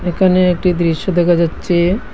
এখানে একটি দৃশ্য দেখা যাচ্চে।